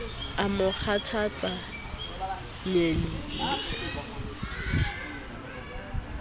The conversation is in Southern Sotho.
o mo kgathatsa nyene le